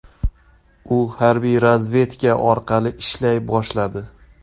U harbiy razvedka orqali ishlay boshladi.